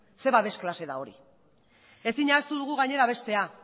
zer babes klase da hori ezin ahaztu dugu gainera bestea